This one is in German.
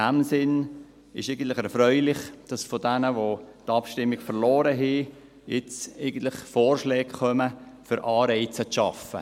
Es ist in diesem Sinn eigentlich erfreulich, dass von jenen, die die Abstimmung verloren haben, jetzt Vorschläge kommen, um Anreize zu schaffen.